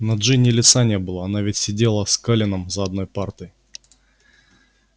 на джинни лица не было она ведь сидела с колином за одной партой